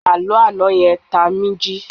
Àló àná yẹn tá mí jí.